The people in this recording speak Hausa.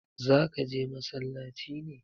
zaka je masallaci ne?